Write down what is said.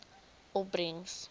opbrengs